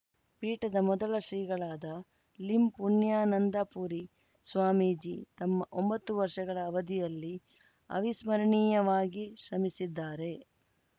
ಪೀಠದ ಮೊದಲ ಶ್ರೀಗಳಾದ ಲಿಂಪುಣ್ಯಾನಂದಪುರಿ ಸ್ವಾಮೀಜಿ ತಮ್ಮ ಒಂಬತ್ತು ವರ್ಷಗಳ ಅವಧಿಯಲ್ಲಿ ಅವಿಸ್ಮರಣೀಯವಾಗಿ ಶ್ರಮಿಸಿದ್ದಾರೆ